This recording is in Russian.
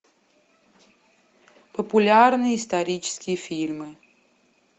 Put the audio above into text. популярные исторические фильмы